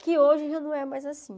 Que hoje já não é mais assim.